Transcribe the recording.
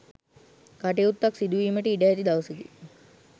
කටයුත්තක් සිදු වීමට ඉඩ ඇති දවසකි.